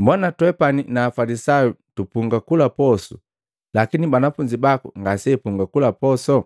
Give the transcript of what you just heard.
“Mbona twepani na Afalisayu tupunga kula posu lakini banafunzi baku ngaseapunga kula posu?”